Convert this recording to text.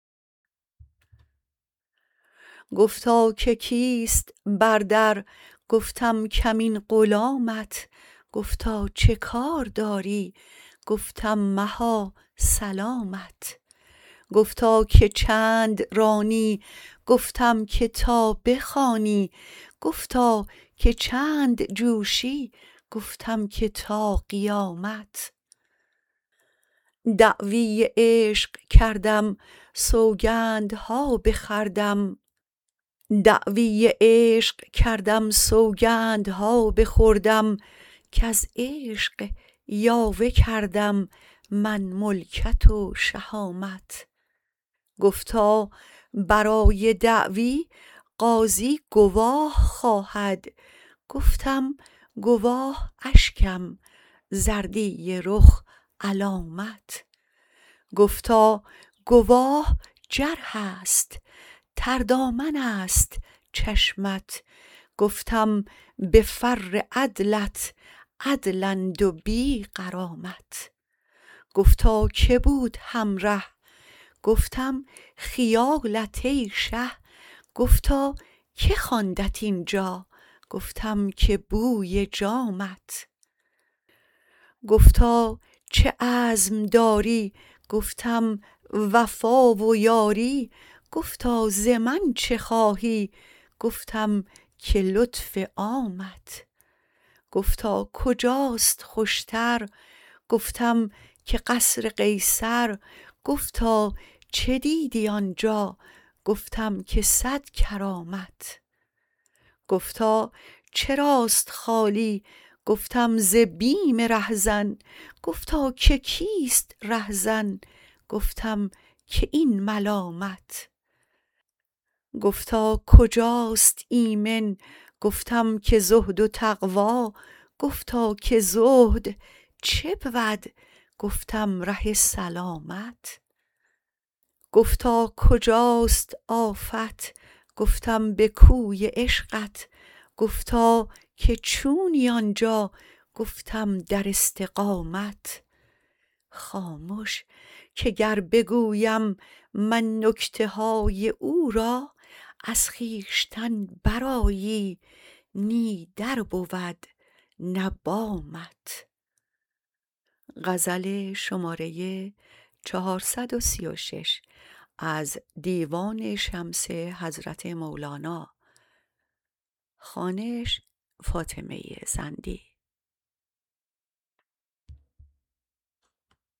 گفتا که کیست بر در گفتم کمین غلامت گفتا چه کار داری گفتم مها سلامت گفتا که چند رانی گفتم که تا بخوانی گفتا که چند جوشی گفتم که تا قیامت دعوی عشق کردم سوگند ها بخوردم کز عشق یاوه کردم من ملکت و شهامت گفتا برای دعوی قاضی گواه خواهد گفتم گواه اشکم زردی رخ علامت گفتا گواه جرحست تردامن ست چشمت گفتم به فر عدلت عدلند و بی غرامت گفتا که بود همره گفتم خیالت ای شه گفتا که خواندت این جا گفتم که بوی جامت گفتا چه عزم داری گفتم وفا و یاری گفتا ز من چه خواهی گفتم که لطف عامت گفتا کجاست خوش تر گفتم که قصر قیصر گفتا چه دیدی آنجا گفتم که صد کرامت گفتا چراست خالی گفتم ز بیم رهزن گفتا که کیست رهزن گفتم که این ملامت گفتا کجاست ایمن گفتم که زهد و تقوا گفتا که زهد چه بود گفتم ره سلامت گفتا کجاست آفت گفتم به کوی عشقت گفتا که چونی آن جا گفتم در استقامت خامش که گر بگویم من نکته های او را از خویشتن برآیی نی در بود نه بامت